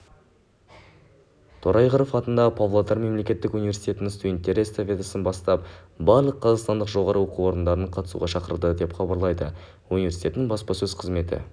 торайғыров атындағы павлодар мемлекеттік университетінің студенттері эстафетасын бастап барлық қазақстандық жоғарғы оқу орындарын қатысуға шақырды деп хабарлайды университеттің баспасөз қызметі